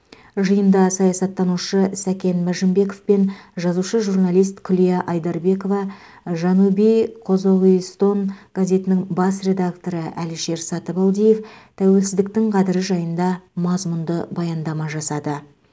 жиында саясаттанушы сәкен мәжінбеков пен жазушы журналист күлия айдарбекова жанубий қозоғистон газетінің бас редакторы әлішер сатыбалдиев тәуелсіздіктің қадірі жайында мазмұнды баяндама жасады